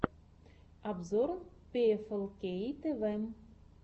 обзор пиэфэлкей тэвэ